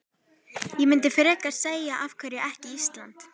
Ég myndi frekar segja af hverju ekki Ísland?